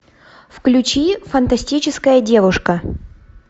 включи фантастическая девушка